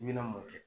I bɛna mɔ kɛ